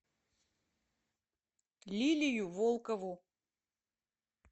лилию волкову